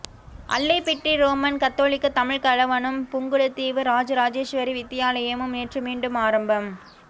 Allaipiddy Roman Catholic தமிழ்க் கலவனும் புங்குடுதீவு ராஜராஜேஸ்வரி வித்தியாலயமும் நேற்று மீண்டும் ஆரம்பம்